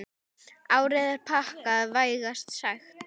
Árið er pakkað, vægast sagt.